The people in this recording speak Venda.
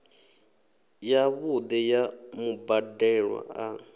ya vhuṋe ya mubadelwa a